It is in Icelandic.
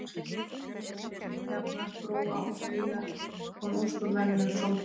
Í stað japanskra tjarna, brúa og stíga kom ósköp venjulegur sólpallur.